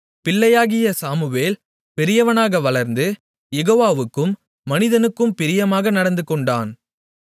பிள்ளையாகிய Samuel பெரியவனாக வளர்ந்து யெகோவாவுக்கும் மனிதனுக்கும் பிரியமாக நடந்துகொண்டான்